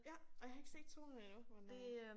Ja ej jeg har ikke set 2'eren endnu men øh